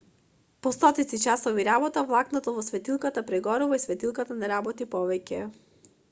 по стотици часови работа влакното во светилката прегорува и светилката не работи повеќе